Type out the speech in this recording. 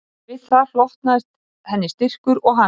Við það hlotnaðist henni styrkur og hamingja